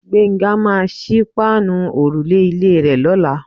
Gbénga máà ń sí páànù òrùlé ilé rè lọ́la.